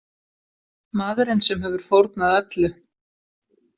Maðurinn sem hefur fórnað öllu.